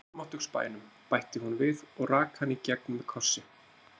Í almáttugs bænum, bætti hún við og rak hann í gegn með kossi.